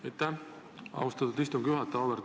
Aitäh, austatud istungi juhataja!